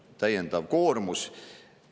See on täiendav koormus.